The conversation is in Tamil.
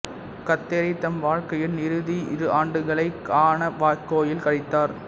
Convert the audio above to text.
கத்தேரி தம் வாழ்க்கையின் இறுதி இரு ஆண்டுகளைக் கானவாக்கேயில் கழித்தார்